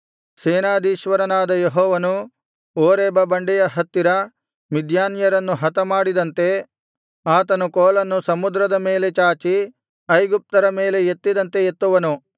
ಸೇನಾಧೀಶ್ವರನಾದ ಯೆಹೋವನು ಓರೇಬ ಬಂಡೆಯ ಹತ್ತಿರ ಮಿದ್ಯಾನ್ಯರನ್ನು ಹತಮಾಡಿದಂತೆ ಆತನು ಕೋಲನ್ನು ಸಮುದ್ರದ ಮೇಲೆ ಚಾಚಿ ಐಗುಪ್ತರ ಮೇಲೆ ಎತ್ತಿದಂತೆ ಎತ್ತುವನು